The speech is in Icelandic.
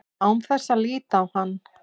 Án þess að líta á hann.